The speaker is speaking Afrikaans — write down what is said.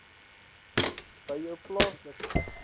by jou plaaslike